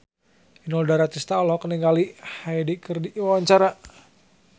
Inul Daratista olohok ningali Hyde keur diwawancara